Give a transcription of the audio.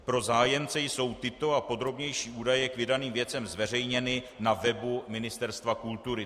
Pro zájemce jsou tyto a podrobnější údaje k vydaným věcem zveřejněny na webu Ministerstva kultury.